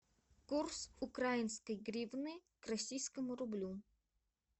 курс украинской гривны к российскому рублю